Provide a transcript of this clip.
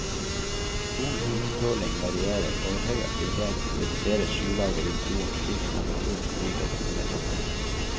Solens utstråling varierer, og ved høy aktivitet reduseres skylaget rundt jorden slik at temperaturen stiger, mener forskerne.